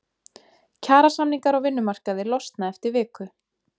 Kjarasamningar á vinnumarkaði losna eftir viku